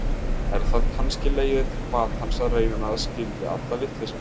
Er það kannski leiðin til batans að reyna að skilja alla vitleysuna.